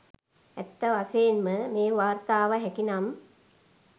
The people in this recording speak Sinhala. ඇත්ත වශයෙන්ම මේ වාර්තාව හැකිනම්